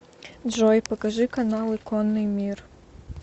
джой покажи каналы конный мир